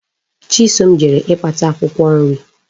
Chisom jere ikpata Akwukwo nri